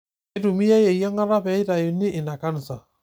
Keitumiyai eyiangata pee eitayuni ina kansa.